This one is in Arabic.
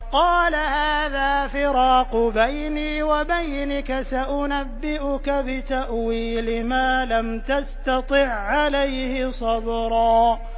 قَالَ هَٰذَا فِرَاقُ بَيْنِي وَبَيْنِكَ ۚ سَأُنَبِّئُكَ بِتَأْوِيلِ مَا لَمْ تَسْتَطِع عَّلَيْهِ صَبْرًا